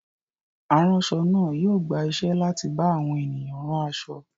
Aránṣọ náà yóò gba iṣẹ́ láti bá àwọn ènìyàn rán aṣọ.